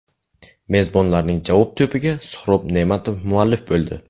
Mezbonlarning javob to‘piga Suhrob Ne’matov muallif bo‘ldi.